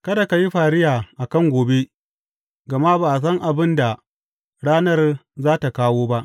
Kada ka yi fariya a kan gobe gama ba san abin da ranar za tă kawo ba.